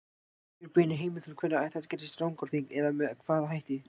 Ekki eru beinar heimildir um hvenær þetta gerðist í Rangárþingi eða með hvaða hætti.